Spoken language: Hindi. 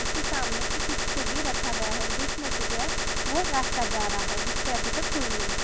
उसके सामने एक कुछ तो भी रखा गया है और बिच मे से जो है वो रास्ता जा रहा है जिसपर अभी तक कोई नही है।